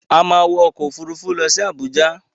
A má wọ ọkọ̀ Òfurufú lọ sí Àbújá.